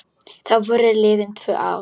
Þá voru liðin tvö ár.